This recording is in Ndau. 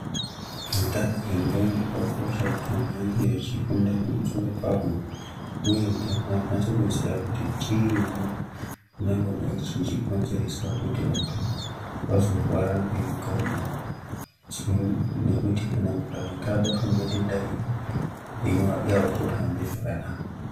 Utano hwendxondo hwakakosha kuti anhu ange echifunda pamusoro pahwo uye kuti vanhu vakwanise kuziya kuti chiini chingangodai chichikonzeresa kuti vantu vazorware ngendxondo nekuti kana munhu akanga abatwa ngedenda iri upenyu hwake hauchatohambi zvakanaka.